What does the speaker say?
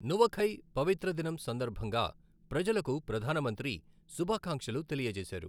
నువఖై పవిత్ర దినం సందర్భంగా ప్రజలకు ప్రధానమంత్రి శుభాకాంక్షలు తెలియచేశారు.